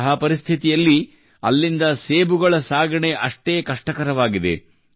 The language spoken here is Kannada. ಅಂತಹ ಪರಿಸ್ಥಿತಿಯಲ್ಲಿ ಅಲ್ಲಿಂದ ಸೇಬುಗಳ ಸಾಗಣೆಯು ಅಷ್ಟೇ ಕಷ್ಟಕರವಾಗಿದೆ